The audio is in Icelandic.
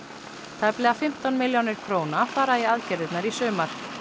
tæplega fimmtán milljónir króna fara í aðgerðirnar í sumar